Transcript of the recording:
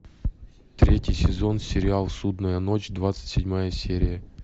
третий сезон сериал судная ночь двадцать седьмая серия